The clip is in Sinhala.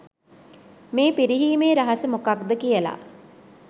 මේ පිරිහීමේ රහස මොකක්ද කියලා.